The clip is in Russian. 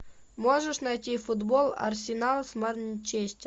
можешь найти футбол арсенал с манчестер